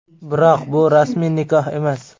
Biroq bu rasmiy nikoh emas.